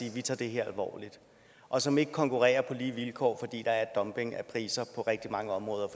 at de tager det her alvorligt og som ikke konkurrerer på lige vilkår fordi der er dumping af priser på rigtig mange områder